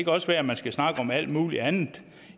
også være man skal snakke om alt muligt andet